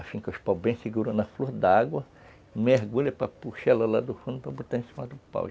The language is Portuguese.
Assim, com os paus bem seguros nas flores d'água, mergulha para puxar ela lá do fundo para botar em cima do pau.